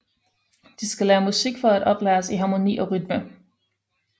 De skal lære musik for at oplæres i harmoni og rytme